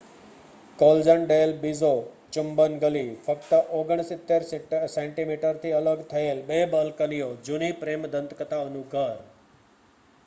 કૉલજન del Beso ચુંબન ગલી. ફક્ત 69 સેન્ટિમીટરથી અલગ થયેલ બે બાલ્કનીઓ જૂની પ્રેમ દંતકથાનું ઘર